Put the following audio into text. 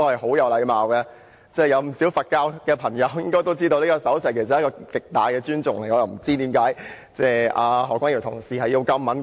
不少佛教朋友都知道，這手勢代表極大尊重，所以我不明白為何何君堯議員會如此敏感。